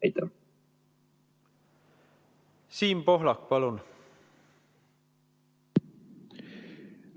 Siim Pohlak, palun!